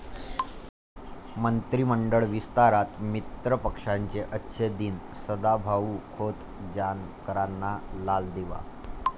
मंत्रिमंडळ विस्तारात मित्रपक्षांचे 'अच्छे दिन', सदाभाऊ खोत, जानकरांना लाल दिवा?